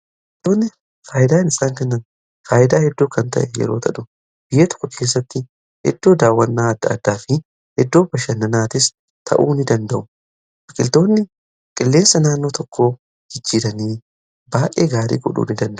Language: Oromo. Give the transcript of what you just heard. biqilootni faayidaa in isaan kennan faayyidaa hedduu kan ta'e yeroo tahu biyya tokko keessatti iddoo daawwannaa adda addaa fi iddoo bashannanaatis ta'uu in danda'u biqiltoonni qilleensa naannoo tokko jijjiiranii baay'ee gaarii godhuu ni danda'u.